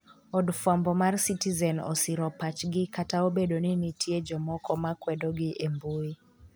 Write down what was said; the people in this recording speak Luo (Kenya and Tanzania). Od fwambo mar Citizen osiro pachgi kata obedo ni nitie jomoko ma kwedo gi e mbui